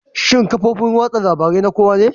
Shin kafofin watsa labarun na kowa ne?